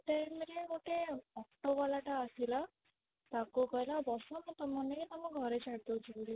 ସେ time ରେ ଗୋଟେ auto ଵାଲା ଟା ଆସିଲା ତାକୁ କହିଲା ବସ ମୁଁ ତମକୁ ନେଇକି ତମ ଘରେ ଛାଡ଼ିଦଉଛି ବୋଲି